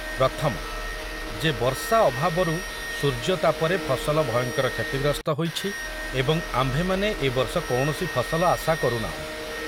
ପ୍ରଥମ, ଯେ ବର୍ଷା ଅଭାବରୁ ସୂର୍ଯ୍ୟତାପରେ ଫସଲ ଭୟଙ୍କର କ୍ଷତିଗ୍ରସ୍ତ ହୋଇଛି ଏବଂ ଆମ୍ଭେମାନେ ଏ ବର୍ଷ କୌଣସି ଫସଲ ଆଶା କରୁନାହୁଁ।